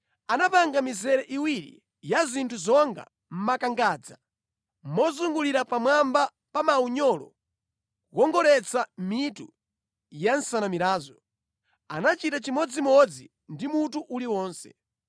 Anapanga mizere iwiri ya zinthu zonga makangadza mozungulira pamwamba pa maunyolo kukongoletsa mitu ya nsanamirazo. Anachita chimodzimodzi ndi mutu uliwonse.